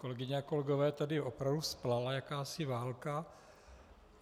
Kolegyně a kolegové, tady opravdu vzplála jakási válka.